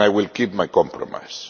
I will keep my promise.